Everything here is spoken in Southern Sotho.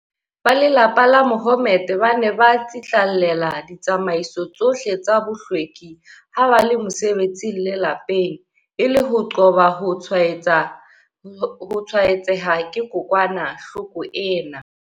Ba lelapa la Mahommed ba ne ba tsitlallela ditsamaiso tsohle tsa bohlweki ha ba le mosebetsing le lapeng, e le ho qoba ho tshwae-tseha ke kokwa-nahloko ena.